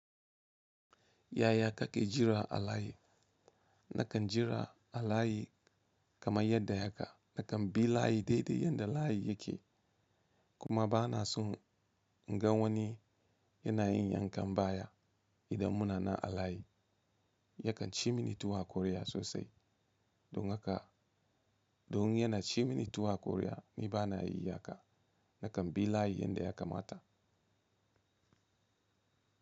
Yaya kake jira a layi? Nakan jira a layi kamar yadda haka. Nakan bi layi dai dai yadda layi yake. Kuma bana son in ga wani yana yin yankan baya idan muna na a layi. Yakan ci mini tuwo a kwarya sosai. Don haka, don yana ci mini tuwo akwarya ni bana yi haka. Nakan bi layi yadda ya kamata.